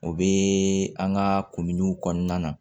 O bɛ an ka kunguniw kɔnɔna na